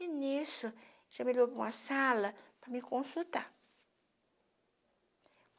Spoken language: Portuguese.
E, nisso, já me levou para uma sala para me consultar.